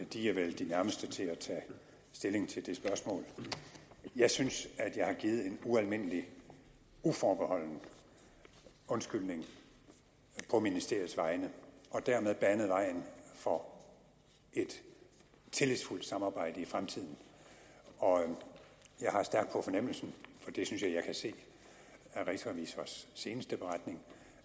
de er vel de nærmeste til at tage stilling til det spørgsmål jeg synes at jeg har givet en ualmindelig uforbeholden undskyldning på ministeriets vegne og dermed banet vejen for et tillidsfuldt samarbejde i fremtiden jeg har stærkt på fornemmelsen for det synes jeg jeg kan se af rigsrevisors seneste beretning